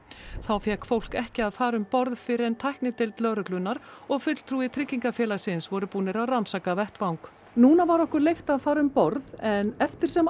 þá fékk fólk ekki að fara um borð fyrr en tæknideild lögreglunnar og fulltrúi tryggingafélagsins voru búin að rannsaka vettvang núna var okkur leyft að fara um borð en eftir sem